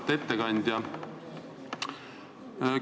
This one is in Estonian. Auväärt ettekandja!